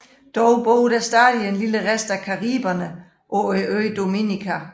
Dog bor der stadig en lille rest af Cariberne på øen Dominica